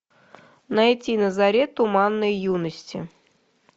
найти на заре туманной юности